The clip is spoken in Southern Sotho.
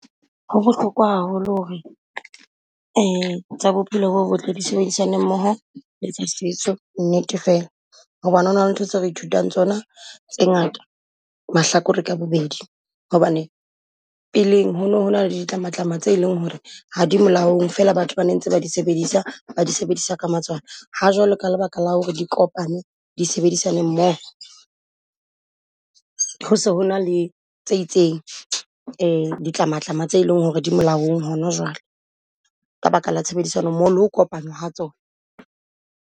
Ho bohlokwa haholo ho re tsa bophelo bo botle di sebedisana mmoho le tsa setso nnete fela. Hobane ho na le ntho tse re ithutang tsona tse ngata mahlakore ka bobedi, hobane peleng ho no ho na le ditlamatlama tse eleng ho re ha di molaong fela batho ba ne ntse ba di sebedisa, ba di sebedisa ka matswalo. Ha jwalo ka lebaka la ho re di kopane di sebedisaneng mmoho, ho se ho na le tse itseng ditlamatlama tse eleng ho re di molaong hona jwale. Ka baka la tshebedisano mmoho le ho kopana ha tsona.